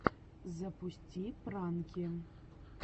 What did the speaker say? запусти пранки